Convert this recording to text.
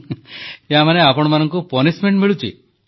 ହସିକରି ୟା ମାନେ ଆପଣମାନଙ୍କୁ ଦଣ୍ଡ ମିଳୁଛି